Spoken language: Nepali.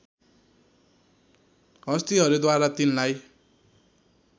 हस्तिहरूद्वारा तिनलाई